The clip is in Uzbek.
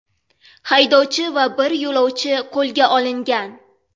Haydovchi va bir yo‘lovchi qo‘lga olingan.